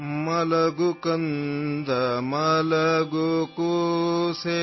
Kannada sound clip 35 second Urdu ترجمہ